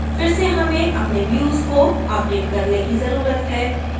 फिर से हमें अपने views को अपडेट करने की जरूरत है